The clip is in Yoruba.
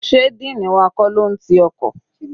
Sé dean wa kọ́ ló n ti ọkọ̀?